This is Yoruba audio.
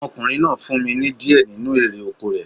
Ọmọkùnrin náà fún mi ní di ẹ nínu erè oko rẹ̀